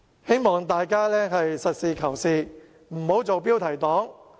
希望大家實事求是，不要做"標題黨"。